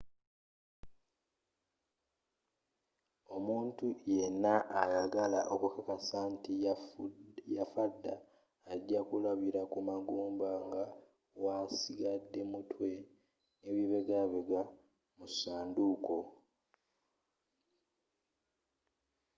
omuntu yenna ayagala okukakasa nti yafadda ajja kulabila kumagumba nga wasigade mutwe nabibegabega mu sanduuko